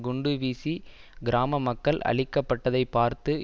குண்டு வீசி கிராம மக்கள் அழிக்கப்பட்டதை பார்த்து